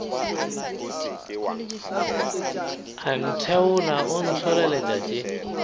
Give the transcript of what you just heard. a ntheola o ntlholeletša tše